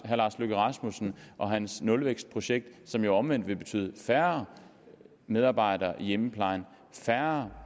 løkke rasmussen og hans nulvækstprojekt som jo omvendt vil betyde færre medarbejdere i hjemmeplejen færre